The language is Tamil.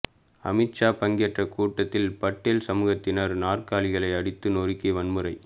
அமித் ஷா பங்கேற்ற கூட்டத்தில் பட்டேல் சமூகத்தினர் நாற்காலிகளை அடித்து நொறுக்கி வன்முறை